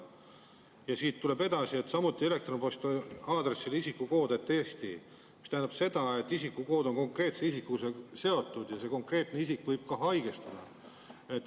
Ja siit tuleb edasi: "… samuti elektronposti aadressil isikukood@eesti.ee …", mis tähendab seda, et isikukood on konkreetse isikuga seotud ja see konkreetne isik võib ka haigestuda.